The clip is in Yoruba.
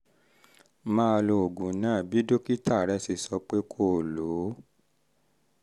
máa lo oògùn náà bí dókítà rẹ ṣe sọ pé kó o lò ó